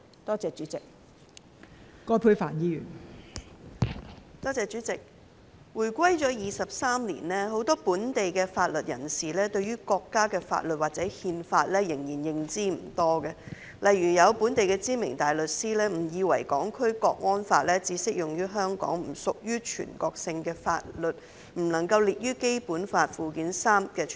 代理主席，香港回歸23年，很多本地的法律人士對於國家的法律或《憲法》仍然認知不多，例如有本地的知名大律師誤以為《港區國安法》只適用於香港，不屬於全國性的法律，因而不能夠列於《基本法》附件三。